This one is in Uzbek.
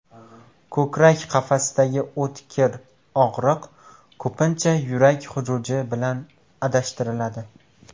Ko‘krak qafasidagi o‘tkir og‘riq ko‘pincha yurak xuruji bilan adashtiriladi.